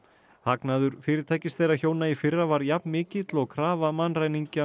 hagnaður fyrirtækis þeirra hjóna í fyrra var jafnmikill og krafa mannræningja